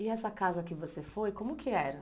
E essa casa que você foi, como que era?